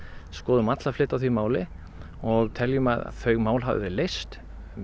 skoðuðum alla fleti á því máli og teljum að þau mál hafi verið leyst